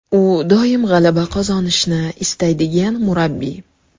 U doim g‘alaba qozonishni istaydigan murabbiy.